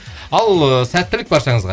ал ыыы сәттілік баршаңызға